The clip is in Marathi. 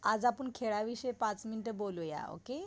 आज आपण खेळाविषयी पाच मिनिट बोलूया ओके?